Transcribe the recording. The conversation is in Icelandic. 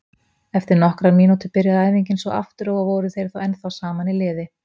Eftir nokkrar mínútur byrjaði æfingin svo aftur og voru þeir þá ennþá saman í liði.